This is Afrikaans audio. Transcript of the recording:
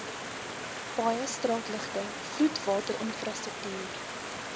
paaie straatligte vloedwaterinfrastruktuur